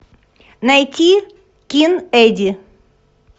найти кин эдди